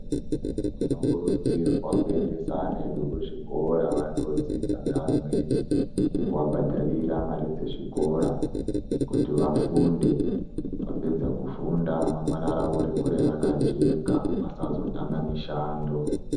Tinokurudzirwa kuendesa ana edu kuzvikora vandodzidza ngeamweni nekuvabhadharira mari dzezvikora kuti vafunde. Vapedza kufunda remangwani ravo rikure rakajeka vasazotama mishando.